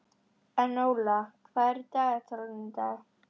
Enóla, hvað er í dagatalinu í dag?